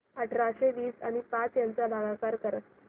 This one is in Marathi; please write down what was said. अठराशे वीस आणि पाच यांचा भागाकार कर